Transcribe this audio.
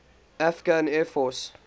afghan air force